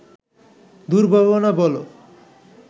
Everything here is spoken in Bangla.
দুর্ভাবনা বলো